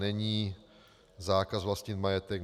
není zákaz vlastnit majetek.